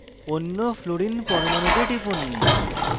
অন্য fluorine পরমাণুতে টিপুন